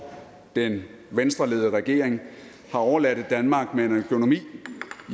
den venstreledede regering har overladt et danmark med en økonomi